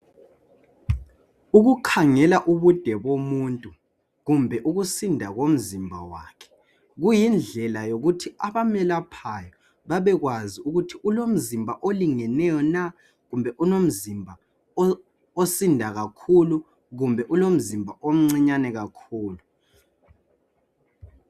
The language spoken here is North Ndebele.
Ukukhangela ubude bomuntu kumbe ukusinda komzimba wakhe kuyindlela yokuthi abemelaphayo bebekwazi ukuthi ulomzimba olingeneyo kumbe ulomzimba osinda kakhulu kumbe ulomzimba omncinyane kakhulu.